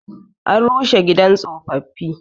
An rushe gidan tsofaffi.